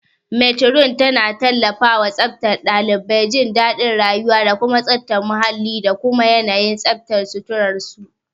Matron tana tallafawa tsaftar ɗalibai, jin daɗin rayuwa, da tsafta muhalli da kuma yanayin tsaftar suturar su.